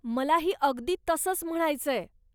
मलाही अगदी तसंच म्हणायचंय.